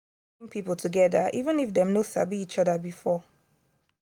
sports dey bring people together even if dem no sabi each other before.